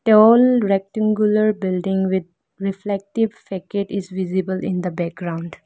Tall rectangular building with reflective facade is visible in the background.